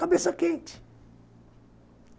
Cabeça quente.